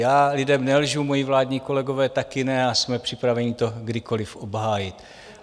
Já lidem nelžu, moji vládní kolegové také ne a jsme připraveni to kdykoliv obhájit.